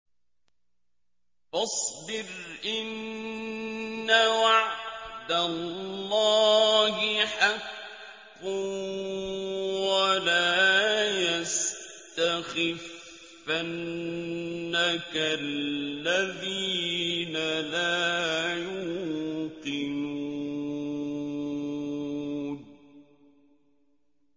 فَاصْبِرْ إِنَّ وَعْدَ اللَّهِ حَقٌّ ۖ وَلَا يَسْتَخِفَّنَّكَ الَّذِينَ لَا يُوقِنُونَ